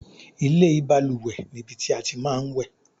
ilé ìbalùwẹ̀ ni ibi tí a tí máa ń wẹ̀